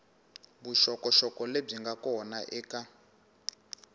vuxokoxoko lebyi nga kona eka